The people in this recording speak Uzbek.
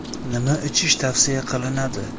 Nima ichish tavsiya qilinadi?